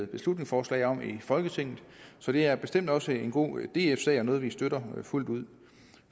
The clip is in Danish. beslutningsforslag om i folketinget så det er bestemt også en god df sag og noget vi støtter fuldt ud